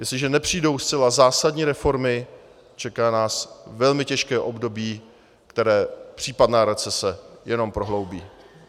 Jestliže nepřijdou zcela zásadní reformy, čeká nás velmi těžké období, které případná recese jenom prohloubí.